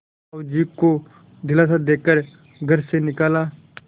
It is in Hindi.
साहु जी को दिलासा दे कर घर से निकाला